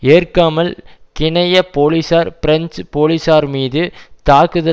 ஏற்காமல் கினய போலீசார் பிரெஞ்சு போலீசார் மீது தாக்குதல்